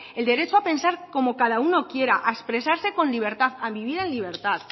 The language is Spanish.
el derecho a pensar como cada uno quiera a expresarse con libertad a vivir en libertad